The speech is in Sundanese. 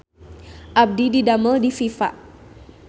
Abdi didamel di Viva